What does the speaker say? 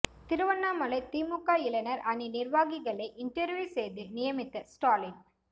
திருவண்ணாமலை திமுக இளைஞர் அணி நிர்வாகிகளை இன்டர்வியூ செய்து நியமித்த ஸ்டாலின்